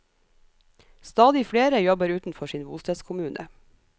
Stadig flere jobber utenfor sin bostedskommune.